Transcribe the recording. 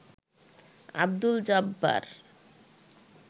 Abdul Jabbar